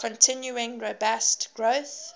continuing robust growth